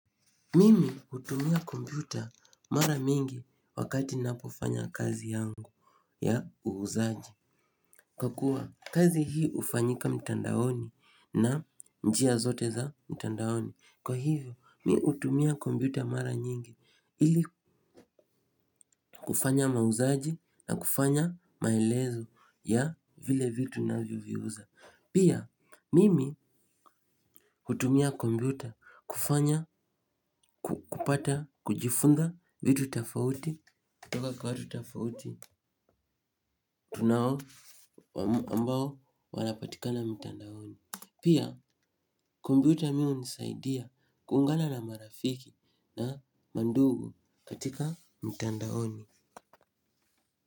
Mimi, hutumia kompyuta, mara mingi wakati ninapofanya kazi yangu ya, uuzaji. Kwa kuwa, kazi hii ufanyika mtandaoni na njia zote za mtandaoni. Kwa hivyo, mi utumia kombyuta mara nyingi. Ili kufanya mauzaji na kufanya maelezo ya, vile vitu navyoviuza. Pia, mimi hutumia kombyuta kufanya, kupata, kujifunza vitu tafauti. Toka kwa watu tafauti. Tunawo ambao, walapatikana mtandaoni. Pia, kombyuta mimi hunisaidia kuungana na marafiki na mandugu katika mtandaoni.